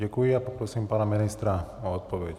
Děkuji a poprosím pana ministra o odpověď.